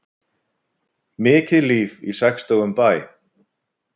Mikið líf í sextugum bæ